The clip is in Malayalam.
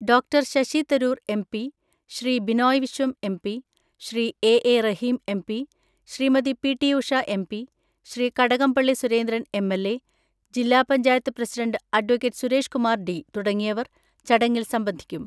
Doctor Shashi Tharoor MP, Shri Binoy Viswam MP, Shri A A Rahim MP, Shrimati P T Usha MP, Shri Kadakampally Surendran MLA, ജില്ലാ panchayat president advocate Suresh Kumar D തുടങ്ങിയവർ ചടങ്ങിൽ സംബന്ധിക്കും.